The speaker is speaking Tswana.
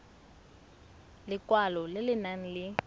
lekwalo le le nang le